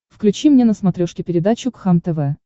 включи мне на смотрешке передачу кхлм тв